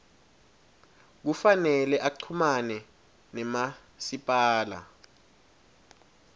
kufanele uchumane namasipala